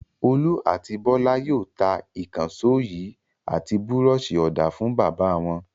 Olú àti Bọ́lá yóò ta ìkànṣó yìí àti búrọ́ṣì-ọ̀dà fún bàbá wọn.